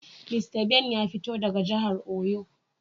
Mista Ben ya fito daga jihar oyo.